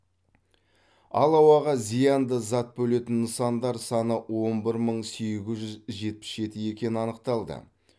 ал ауаға зиянды зат бөлетін нысандар саны он бір мың сегіз жүз жетпіс жеті екені анықталды